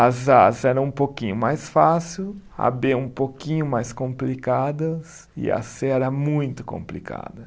As As eram um pouquinho mais fácil, a Bê um pouquinho mais complicadas e a Cê era muito complicada.